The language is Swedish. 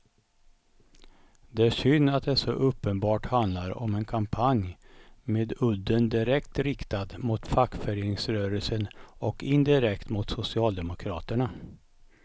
Det är synd att det så uppenbart handlar om en kampanj med udden direkt riktad mot fackföreningsrörelsen och indirekt mot socialdemokraterna.